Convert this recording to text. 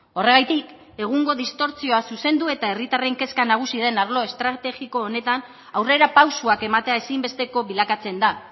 horregatik egungo distortsioa zuzendu eta herritarren kezka nagusi den arlo estrategiko honetan aurrerapausoak ematea ezinbesteko bilakatzen da